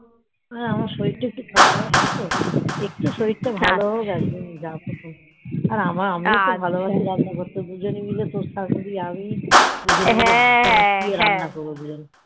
হ্যাঁ আমার শরীর তা একটু খারাপ আছেই তো একটু শরীর তা ভালো হোক